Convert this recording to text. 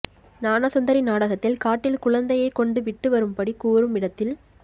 ஞான சுந்தரி நாடகத்தில் காட்டில் குழந்தையை கொண்டு விட்டு வரும்படி கூறும் இடத்தில்